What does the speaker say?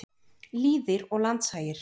Lýðir og landshagir.